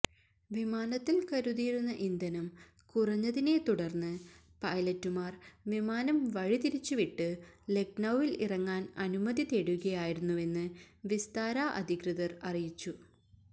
വിമാനത്തിൽ കരുതിയിരുന്ന ഇന്ധനം കുറഞ്ഞതിനെ തുടർന്ന് പൈലറ്റുമാർ വിമാനം വഴിതിരിച്ചുവിട്ട് ലക്നൌവിൽ ഇറങ്ങാൻ അനുമതി തേടുകയായിരുന്നുവെന്ന് വിസ്താര അധികൃതർ അറിയിച്ചു